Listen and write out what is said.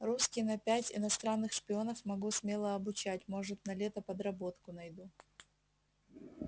русский на пять иностранных шпионов могу смело обучать может на лето подработку найду